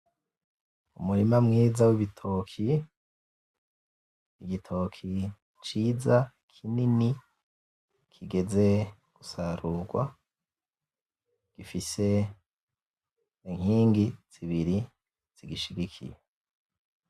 Umurima mwiza wibitoki, igitoki ciza kinini kigeze gusarugwa gifise inkingi zibiri zigishigikiye